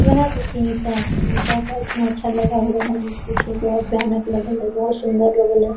यह देखिये ईटा है ईटा का इतना अच्छा लगा हुआ है मत पूछो बहुत भयानक लगल है बहुत सुन्दर लगल है।